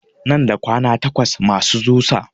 Nan da kwana takwas masu zusa